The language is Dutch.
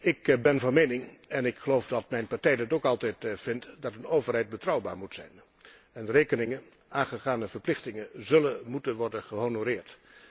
Ik ben van mening en ik geloof dat mijn partij dat ook altijd vindt, dat een overheid betrouwbaar moet zijn en de rekeningen, de aangegane verplichtingen zullen moeten worden gehonoreerd.